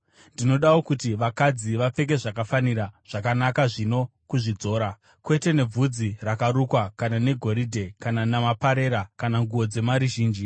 Ndinodawo kuti vakadzi vapfeke zvakafanira, zvakanaka zvino kuzvidzora, kwete nebvudzi rakarukwa kana negoridhe kana namaperera kana nguo dzemari zhinji,